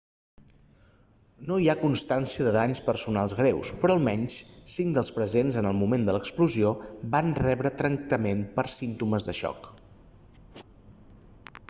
no hi ha constància de danys personals greus però almenys cinc dels presents en el moment de l'explosió van rebre tractament per símptomes de xoc